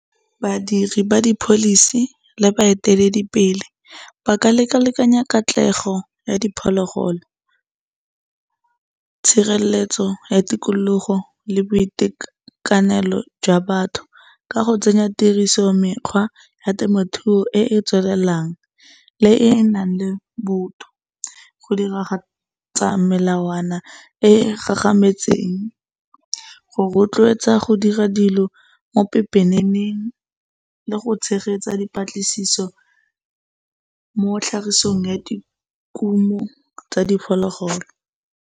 Badiri ba di policy le ba eteledipele ba ka lekalekanya katlego ya diphologolo, tshireletso ya tikologo le boitekanelo jwa batho ka go tsenya tiriso mekgwa ya temothuo e e tswelelelang le e enang le botho. Go diragatsa melawana e e gagametseng go rotloetsa go dira dilo, mo pepeneng le go tshegetsa dipatlisiso mo tlhagisong ya di kumo tsa diphologolo.